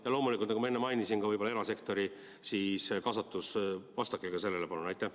Ja loomulikult, nagu ma enne mainisin, ka erasektori kaasatus, vastake ka sellele, palun!